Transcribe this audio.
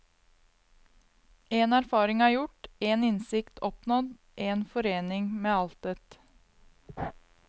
En erfaring er gjort, en innsikt oppnådd, en forening med altet.